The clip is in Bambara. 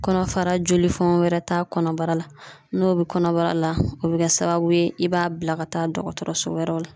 Kɔnɔfara jolifɔn wɛrɛ t'a kɔnɔbara la n'o be kɔnɔbara la o be kɛ sababu ye i b'a bila ka taa dɔgɔtɔrɔso wɛrɛw la